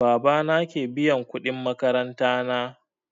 Baba na ke biyan kuɗin makaranta na